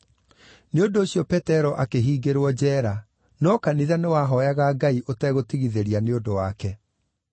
Nĩ ũndũ ũcio Petero akĩhingĩrwo njeera, no kanitha nĩwahooyaga Ngai ũtegũtigithĩria nĩ ũndũ wake.